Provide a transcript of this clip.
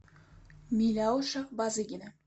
миляуша базыгина